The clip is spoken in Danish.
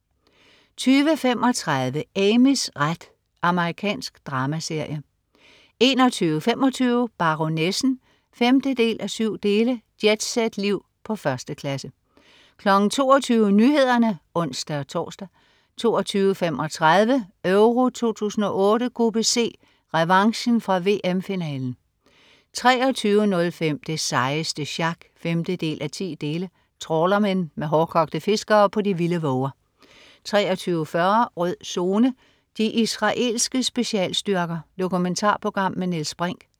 20.35 Amys ret. Amerikansk dramaserie 21.25 Baronessen 5:7. Jetset-liv på 1. klasse 22.00 Nyhederne (ons-tors) 22.35 Euro 2008: Gruppe C: Revanchen fra VM-finalen 23.05 Det sejeste sjak 5:10. Trawlermen. Med hårdkogte fiskere på de vilde våger 23.40 Rød Zone: De israelske specialstyrker. Dokumentarprogram med Niels Brinch